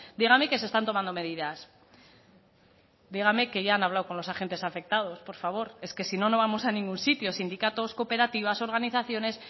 dígame que se están tomando medidas dígame que ya han hablado con los agentes afectados por favor es que si no no vamos a ningún sitio sindicatos cooperativas organizaciones